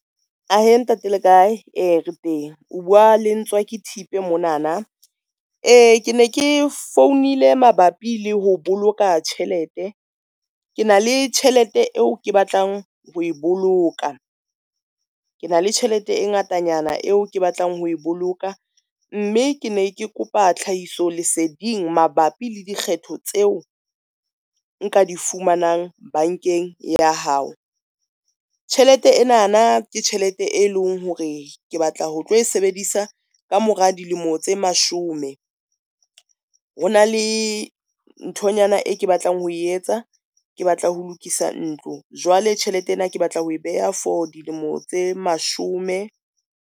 Ahe ntate le kae? Ee, re teng o bua le Ntswaki Thipe monana, ke ne ke founile mabapi le ho boloka tjhelete, ke na le tjhelete eo ke batlang ho e boloka. Ke na le tjhelete e ngatanyana eo ke batlang ho boloka, mme ke ne ke kopa tlhahiso leseding mabapi le dikgetho tseo nka di fumanang bankeng ya hao. Tjhelete ena na ke tjhelete e leng hore ke batla ho tlo e sebedisa kamora dilemo tse mashome, ho na le nthonyana e ke batlang ho etsa ke batla ho lokisa ntlo. Jwale tjhelete ena, ke batla ho e beha for dilemo tse mashome.